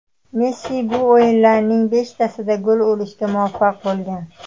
Messi bu o‘yinlarning beshtasida gol urishga muvaffaq bo‘lgan.